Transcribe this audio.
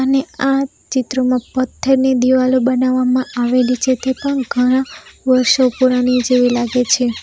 ને આ ચિત્રોમાં પથ્થરની દીવાલો બનાવામાં આવેલી છે તે પણ ઘણા વર્ષો પુરાની જેવી લાગે છે.